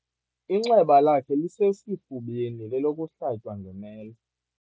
Inxeba lakhe lisesifubeni lelokuhlatywa ngemela.